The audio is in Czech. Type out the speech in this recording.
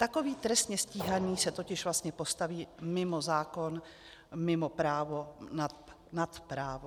Takový trestně stíhaný se totiž vlastně postaví mimo zákon, mimo právo, nad právo.